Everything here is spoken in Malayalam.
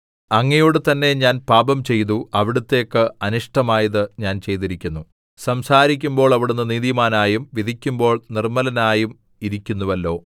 അങ്ങയോടു തന്നെ ഞാൻ പാപംചെയ്തു അവിടുത്തേക്ക് അനിഷ്ടമായത് ഞാൻ ചെയ്തിരിക്കുന്നു സംസാരിക്കുമ്പോൾ അവിടുന്ന് നീതിമാനായും വിധിക്കുമ്പോൾ നിർമ്മലനായും ഇരിയ്ക്കുന്നുവല്ലോ